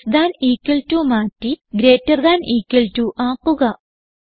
less than equal to മാറ്റി greater than equal to ആക്കുക